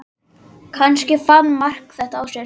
Kannski fann Mark þetta á sér.